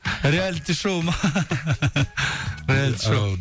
реалити шоу ма реалити шоу